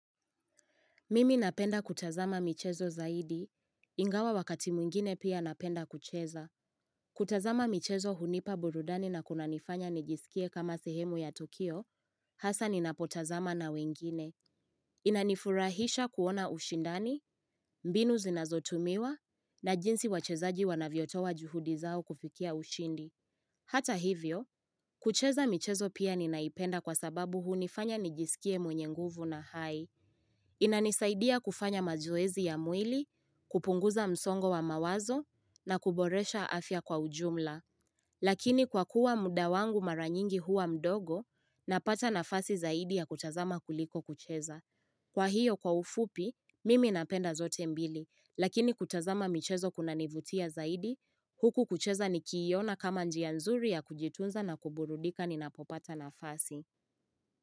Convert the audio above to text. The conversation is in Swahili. Mimi napenda kutazama michezo zaidi, ingawa wakati mwingine pia napenda kucheza. Kutazama michezo hunipa burudani na kunanifanya nijisikie kama sehemu ya tukio, hasa ninapotazama na wengine. Inanifurahisha kuona ushindani, mbinu zinazotumiwa, na jinsi wachezaji wanavyotoa juhudi zao kufikia ushindi. Hata hivyo, kucheza michezo pia ninaipenda kwa sababu hunifanya nijisikie mwenye nguvu na hai. Inanisaidia kufanya mazoezi ya mwili, kupunguza msongo wa mawazo na kuboresha afya kwa ujumla. Lakini kwakuwa muda wangu mara nyingi huwa mdogo, napata nafasi zaidi ya kutazama kuliko kucheza. Kwa hiyo kwa ufupi, mimi napenda zote mbili. Lakini kutazama michezo kunanivutia zaidi, huku kucheza nikiiona kama njia nzuri ya kujitunza na kuburudika ninapopata nafasi.